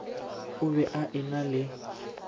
o be a ena le